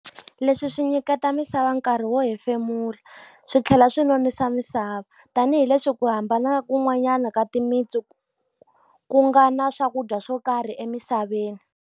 Leswi swi nyiketa misava nkarhi wo hefemula, swi tlhela swi nonisa misava. Tanihi leswi ku hambana kun'wanyana ka timitsu ku nga na swakudya swo karhi emisaveni.